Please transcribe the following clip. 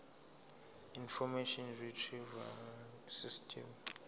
information retrieval system